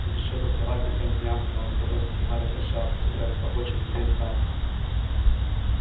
будешь ещё тосковать по тем дням когда он с тобой со слезами прощался собираясь в поход через две станции